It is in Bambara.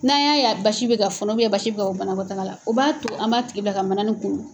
N'an y'a ye basi bɛ ka fɔnɔ basi bɛ ka bɔ banabaabɔ la o b'a to an b'a tigi bila ka manani kunu.